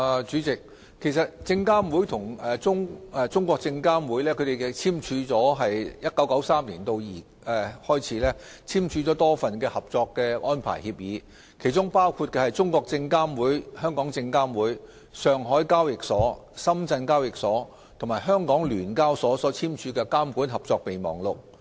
主席，證監會與中證監自1993年起簽署了多份合作安排協議，包括中證監、證監會、上海證券交易所、深圳證券交易所及香港聯合交易所簽署的《監管合作備忘錄》。